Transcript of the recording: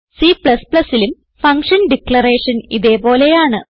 Cലും function declaration ഇതേ പോലെയാണ്